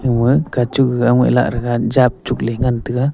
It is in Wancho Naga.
oh eh kachuk gag aongai lah thaga jap chukley ngan taga.